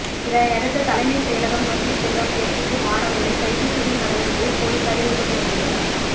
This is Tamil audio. இதனையடுத்து தலைமைச்செயலகம் நோக்கி செல்ல முயற்சிக்கும் மாணவர்களை கைது செய்யும் நடவடிக்கையில் போலீசார் ஈடுபட்டு வருகின்றனர்